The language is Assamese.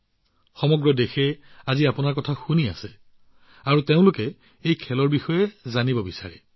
গোটেই দেশখনে আজি আপোনাৰ কথা শুনিছে আৰু তেওঁলোকে এই খেলবিধৰ বিষয়ে জানিব বিচাৰিছে